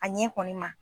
A ɲɛ kɔni ma